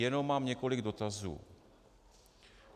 Jenom mám několik dotazů.